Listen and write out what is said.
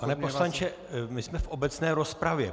Pane poslanče, my jsme v obecné rozpravě.